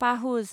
पाहुज